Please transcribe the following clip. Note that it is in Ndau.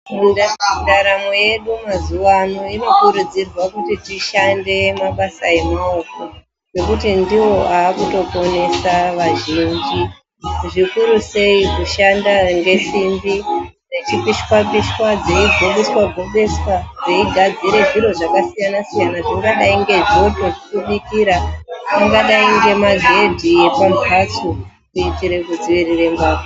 Mundaramwo mwedu tinokurudzirwa kuita mabasa emaoko anosanganisira kupishira simbi ,dzeigobeswa gobeswa kuti dzishande pakasiyana -siyana izvi zvinoita kuti ndaramo yedu iende ireruke.